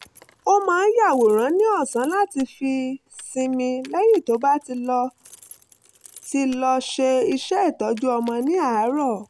ó máa ń yàwòrán ní ọ̀sán láti fi sinmi lẹ́yìn tó bá ti lọ ti lọ ṣe iṣẹ́ ìtọ́jú ọmọ ní àárọ̀